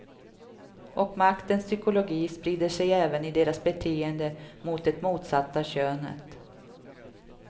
Och maktens psykologi sprider sig även i deras beteende mot det motsatta könet.